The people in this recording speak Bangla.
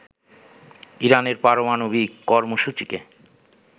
ইরানের পারমাণবিক কর্মসূচিকে